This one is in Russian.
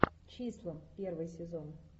числа первый сезон